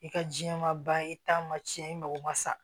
I ka jiɲɛ ma ba ye i taa ma tiɲɛ i mako ma sa